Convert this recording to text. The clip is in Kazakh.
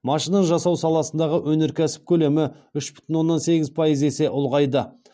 машина жасау саласындағы өнеркәсіп көлемі үш бүтін оннан сегіз пайыз есе ұлғайды